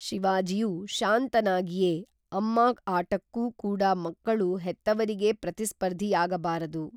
ಶಿವಾಜಿಯು ಶಾಂತನಾಗಿಯೇ ಅಮ್ಮಾ ಆಟಕ್ಕೂ ಕೂಡ ಮಕ್ಕಳು ಹೆತ್ತವರಿಗೇ ಪ್ರತಿಸ್ಫರ್ಧಿ ಯಾಗ ಬಾರದು